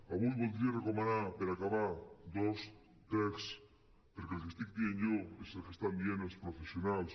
avui voldria recomanar per acabar dos texts perquè el que estic dient jo és el que estan dient els professionals